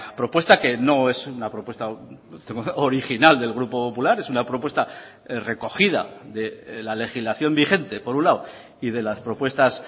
propuesta que no es una propuesta original del grupo popular es una propuesta recogida de la legislación vigente por un lado y de las propuestas